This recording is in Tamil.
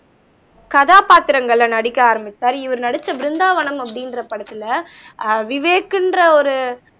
கதாபாத்திரங்கள்ல நடிக்க ஆரம்பிச்சாரு இவரு நடிச்ச பிருந்தாவனம் அப்படின்ற படத்துல ஆஹ் விவேக்ன்ற ஒரு